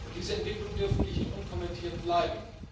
Diese Entwicklungen dürfen nicht unkommentiert bleiben.